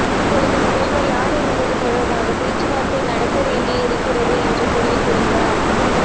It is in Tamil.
இப்போது முதல்வர் யார் என்பது தொடர்பாக பேச்சுவார்த்தை நடத்த வேண்டி இருக்கிறது என்று தெரிவித்திருந்தார்